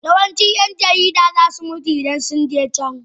Yawancin 'yan jarida za su mutu idan sun je can